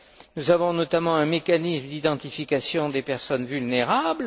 Nous avons notamment mis en place un mécanisme d'identification des personnes vulnérables.